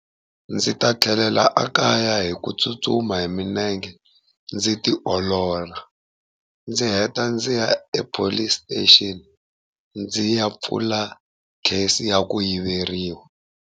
Ndzi ta tlhelela ekaya hi ku tsutsuma hi milenge, ndzi tiolola, ndzi heta ndzi ya ePolice Station ndzi ya pfula case ya ku yiveriwa.